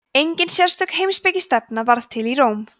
engin sérstök heimspekistefna varð til í róm